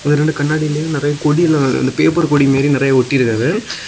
இரண்டு கண்ணாடிலேயும் நறைய கொடில்லாம் அந்த பேப்பர் கொடி மாரி நிறைய ஒட்டி இருக்காங்க.